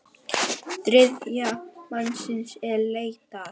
Þriðja mannsins er leitað.